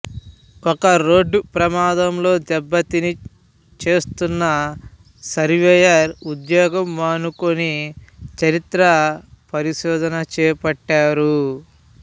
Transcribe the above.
ఒక రోడ్డు ప్రమాదంలో దెబ్బతిని చేస్తున్న సర్వేయరు ఉద్యోగం మానుకొని చరిత్ర పరిశోధన చేపట్టారు